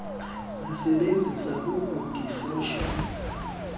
sisebenzisa kugug ifosholo